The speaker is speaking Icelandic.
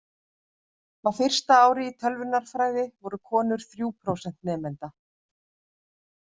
Á fyrsta ári í tölvunarfræði voru konur þrjú prósent nemenda.